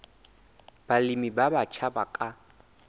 balemi ba batjha ba ka